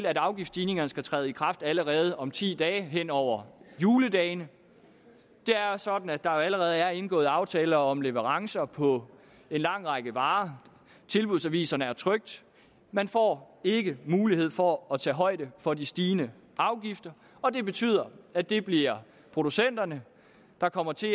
at afgiftsstigningerne skal træde i kraft allerede om ti dage altså hen over juledagene det er sådan at der jo allerede er indgået aftaler om leverancer på en lang række varer tilbudsaviserne er trykt man får ikke mulighed for at tage højde for de stigende afgifter og det betyder at det bliver producenterne der kommer til